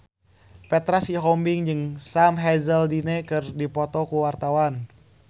Petra Sihombing jeung Sam Hazeldine keur dipoto ku wartawan